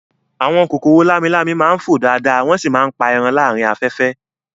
Àwọn kòkòrò lámi-lámi máa ń fò dáadáa wọ́n sì máa ń pa ẹran láàárín afẹ́fẹ́